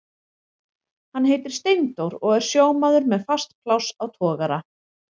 Hann heitir Steindór og er sjómaður með fast pláss á togara.